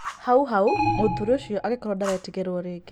Hau hau mũthuri ũcio agĩkorwo ndaretigĩrwo rĩngĩ.